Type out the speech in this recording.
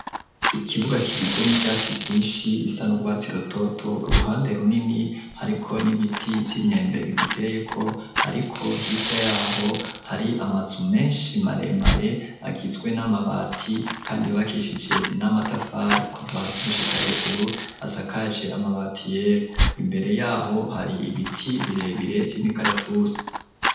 Ikibuga kigizwe n'ivyatsi vyinshi bisa n'urwatsi rutoto uruhande runini hariko n'ibiti vy'imyembe bigiteyeko ariko hirya yaho hari amazu menshi maremare agizwe n'amabati kandi yubakishije n'amatafari kuva hasi gushika hejuru asakaje amabati yera imbere yaho hari ibiti birebire vy'imikaratusi.